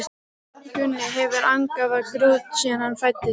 Gunni hefur angað af grút síðan hann fæddist.